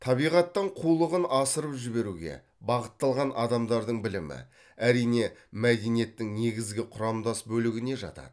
табиғаттан қулығын асырып жіберуге бағытталған адамдардың білімі әрине мәдениеттің негізгі құрамдас бөлігіне жатады